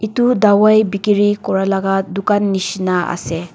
edu dawai bikiri kuralaka dukan nishina ase.